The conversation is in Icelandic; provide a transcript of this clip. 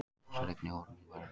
Þessar eignir eru nú verðlausar